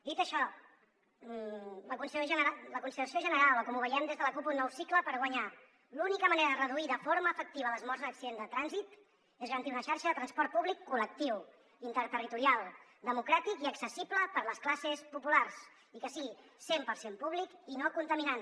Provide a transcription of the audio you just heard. dit això la consideració general o com ho veiem des de la cup un nou cicle per guanyar l’única manera de reduir de forma efectiva les morts en accidents de trànsit és garantir una xarxa de transport públic col·lectiu interterritorial democràtic i accessible per a les classes populars i que sigui cent per cent públic i no contaminant